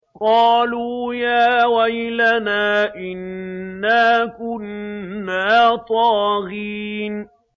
قَالُوا يَا وَيْلَنَا إِنَّا كُنَّا طَاغِينَ